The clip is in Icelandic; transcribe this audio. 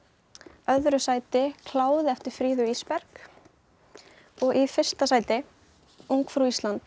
öðru sæti kláði eftir Fríðu Ísberg og í fyrsta sæti ungfrú Ísland